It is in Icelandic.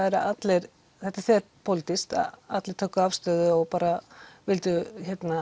allir þetta er þverpólitískt að allir tóku afstöðu og vildu